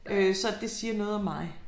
Øh så det siger noget om mig